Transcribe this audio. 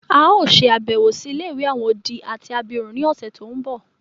A o ṣe àbẹ̀wò si ilé-ìwé àwon odi àti abirún ni ọ̀ṣẹ̀ to nbọ.